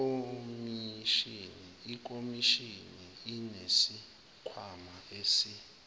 ikhomishini inesikhwama esi